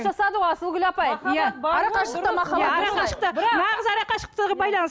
асылгүл апай нағыз арақашықтағы байланыс